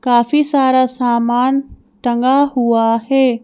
काफी सारा सामान टंगा हुआ है।